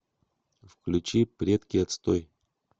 включи предки отстой